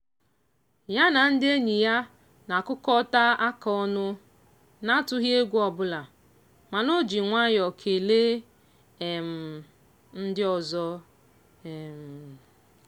ya na ndị enyi na-akụkọta aka ọnụ na-atụghị egwu ọbụla mana o ji nwayọ kelee um ndị ọzọ. um